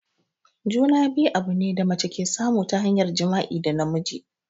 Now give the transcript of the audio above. Juna-biyu abune da mace ke samu ta hanyar jima'i da namiji.